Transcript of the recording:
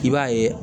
I b'a ye